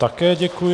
Také děkuji.